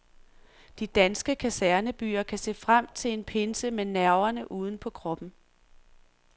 De danske kasernebyer kan se frem til en pinse med nerverne uden på kroppen.